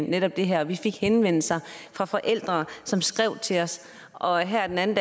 netop det her vi fik henvendelser fra forældre som skrev til os og her den anden